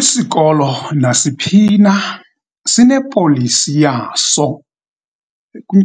Isikolo nasiphi na sinepolisi yaso.